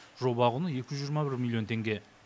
жоба құны екі жүз жиырма бір миллион теңге